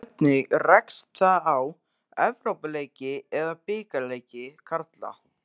Hvernig rekst það á Evrópuleiki eða bikarleiki karla?